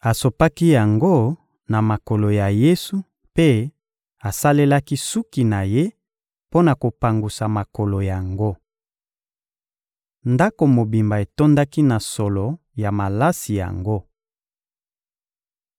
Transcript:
asopaki yango na makolo ya Yesu mpe asalelaki suki na ye mpo na kopangusa makolo yango. Ndako mobimba etondaki na solo ya malasi yango.